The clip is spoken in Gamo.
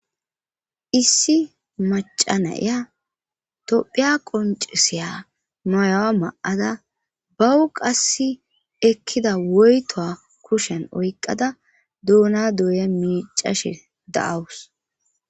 issi macanaya tophiya qonceseya noyawa ma7ada bawu qass ekkida woyto kushen oyqada duuna dooye miicashe da7awus